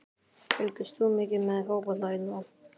Fylgist þú mikið með fótbolta í dag?